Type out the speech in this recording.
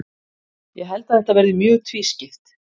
Ég held að þetta verði mjög tvískipt.